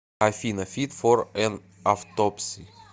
афина фит фор эн автопси